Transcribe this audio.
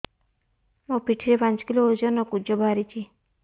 ମୋ ପିଠି ରେ ପାଞ୍ଚ କିଲୋ ଓଜନ ର କୁଜ ବାହାରିଛି